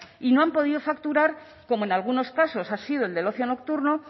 y no han podido facturar como en algunos casos ha sido el del ocio nocturno